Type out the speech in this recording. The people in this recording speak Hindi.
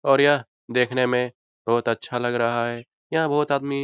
और यह देखने में बहुत अच्छा लग रहा है यहाँ बहुत आदमी --